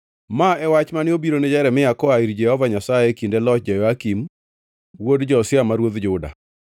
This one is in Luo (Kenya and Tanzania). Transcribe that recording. Ma e wach mane obirone Jeremia koa ir Jehova Nyasaye e kinde loch Jehoyakim wuod Josia ma ruodh Juda: